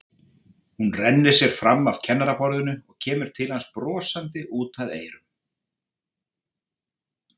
Hún rennir sér fram af kennaraborðinu og kemur til hans brosandi út að eyrum.